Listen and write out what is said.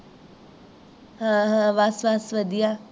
ਹਾਂ-ਹਾਂ ਬੱਸ-ਬੱਸ ਵਦਿਆ